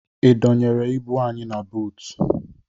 Ị dọnyere ibu anyị na buutu?